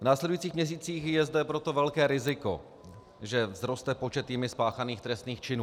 V následujících měsících je zde proto velké riziko, že vzroste počet jimi spáchaných trestných činů.